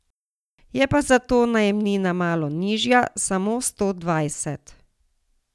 Je pa zato najemnina malo nižja, samo sto dvajset.